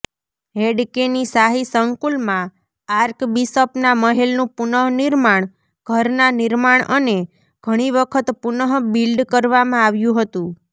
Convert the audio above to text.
હૅડકેની શાહી સંકુલમાં આર્કબિશપના મહેલનું પુનર્નિર્માણ ઘરના નિર્માણ અને ઘણી વખત પુનઃબીલ્ડ કરવામાં આવ્યું હતું